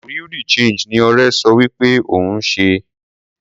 Bureau de change ni ọrẹ so wí pé òun ń ṣe.